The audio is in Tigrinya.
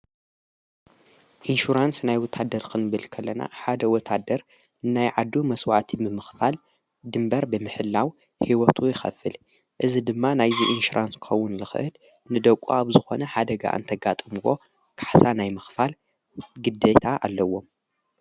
ኢንሹራንስ ናይ ወታደር ኽንብልከለና ሓደ ወታደር እናይ ዓዱ መሥዋዕቲምምኽፋል ድምበር ብምሕላው ሕይወቱ ይኸፍል እዝ ድማ ናይዝ ኢንሽራንስከውን ልኽህድ ንደቁ ኣብ ዝኾነ ሓደግ እን ተጋጥምዎ ካሕሳ ናይ ምኽፋል ግደታ ኣለዎም::